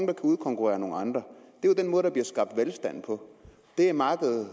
kan udkonkurrere nogle andre det er jo den måde der bliver skabt velstand på det er markedet